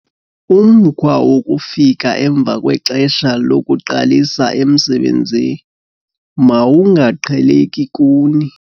Umkhwa wokufika emva kwexesha lokuqalisa emsebenzi mawungaqheleki kuni.